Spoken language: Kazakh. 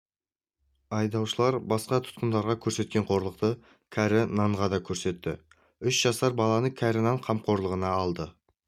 айдаушылар басқа тұтқындарға көрсеткен қорлықты кәрі нанға да көрсетті үш жасар баланы кәрі нан қамқорлығына алды